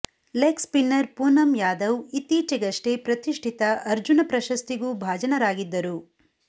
leg spinner Poonam Yadav ಇತ್ತೀಚೆಗಷ್ಟೇ ಪ್ರತಿಷ್ಠಿತ ಅರ್ಜುನ ಪ್ರಶಸ್ತಿಗೂ ಭಾಜನರಾಗಿದ್ದರು